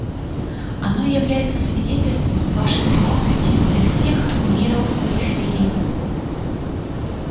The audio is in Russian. оно является свидетельством вашей слабости для всех миров периферии